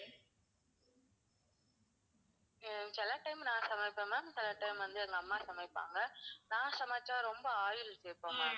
ஆஹ் சில time நான் சமைப்பேன் ma'am சில time வந்து எங்க அம்மா சமைப்பாங்க. நான் சமைச்சா ரொம்ப oil சேப்பேன் ma'am